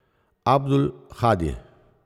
Abdul Hadi.